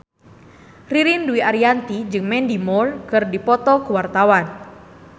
Ririn Dwi Ariyanti jeung Mandy Moore keur dipoto ku wartawan